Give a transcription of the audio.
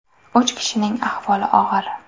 Uch kishining ahvoli og‘ir.